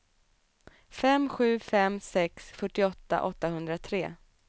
fem sju fem sex fyrtioåtta åttahundratre